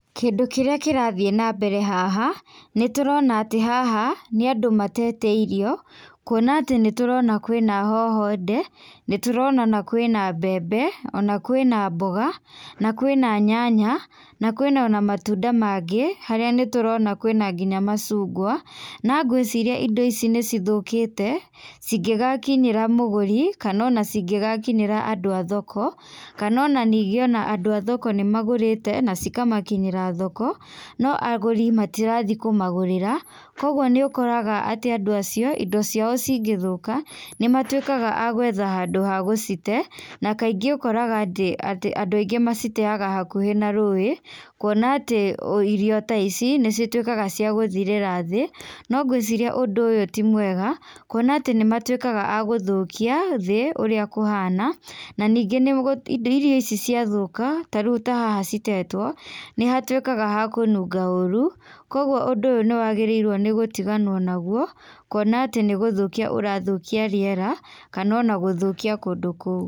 Kĩndũ kĩrĩa kĩrathiĩ na mbere haha nĩ tũrona atĩ haha nĩ andũ matete irio, kuona atĩ nĩturona kwĩna hoho nde, nĩtũrona ona kwĩna mbembe, ona kwĩna mboga, na kwĩna nyanya, na kwĩna ona matunda magĩ, harĩa nĩ tũrona kwĩna nginya macungwa, na ngwĩciria indo ici nĩ cithũkĩte cigĩgakinyĩra mũgũri, kana ona cingĩgakinyĩra andũ a thoko, kana ona ningĩ ona andũ a thoko nĩ magũrĩte na cikamakinyĩra thoko, no agũri matirathiĩ kũmagũrĩra. Kwoguo nĩ ũkoraga atĩ andũ acio, indo ciao cingĩthũka, nĩ matuĩkaga a gwetha handũ ha gũcite, na kaingĩ ũkoraga atĩ andũ aingĩ maciteaga hakuhĩ na rũĩ, kuona atĩ irio ta ici nĩcituĩkaga cia gũthirĩra thĩ. No ngwĩciria ũndũ ũyũ ti mwega, kuona atĩ nĩ matuĩkaga a gũthũkia thĩ ũrĩa kũhana, na ningĩ irio ici ciathũka, ta rĩu ta haha citetwo nĩ hatuĩkaga ha kũnunga ũru, kwoguo ũndũ ũyũ nĩ wagĩrĩirwo gũtiganwo naguo, kuona atĩ nĩ gũthũkia ũrathũkia riera kana ona gũthũkia kũndũ kũu.